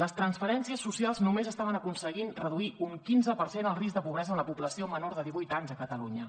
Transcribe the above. les transferències socials només estaven aconseguint reduir un quinze per cent el risc de pobresa en la població menor de divuit anys a catalunya